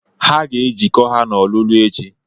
Ha ga-ejikọ ha n'ọlulu echi.